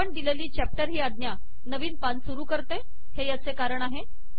आपण दिलेली चॅप्टर ही आज्ञा नवीन पान सुरू करते हे याचे कारण आहे